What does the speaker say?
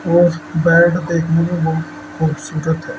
और बेड देखने में बहुत खूबसूरत है।